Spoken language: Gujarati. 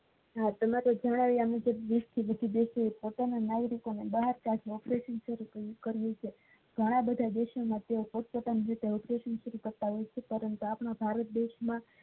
તમે જાણાવીયા મુજબ દેશ ના operation શરૂ કરવું છે ઘણા બધા દેશ માં બધા પોતપોતાની રીતે operation શરૂ કરતા હોય છે પણ ભારત દેશ માં